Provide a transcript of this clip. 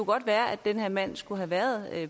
godt være at den her mand skulle have været